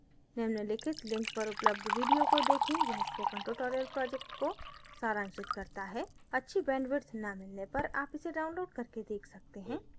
निम्नलिखित link पर उपलब्ध video को देखें यह spoken tutorial project को सारांशित करता है अच्छी bandwidth न मिलने पर आप इसे download करके देख सकते हैं